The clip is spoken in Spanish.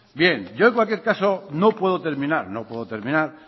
bien yo en cualquier caso no puedo terminar no puedo terminar